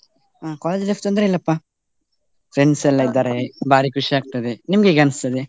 ಹಾ college life ತೊಂದ್ರೆ ಇಲ್ಲಪ್ಪಾ. Friends ಎಲ್ಲಾ ಭಾರಿ ಖುಷಿ ಆಗ್ತದೆ ನಿಮ್ಗೆ ಹೇಗೆ ಅನಿಸ್ತದೆ.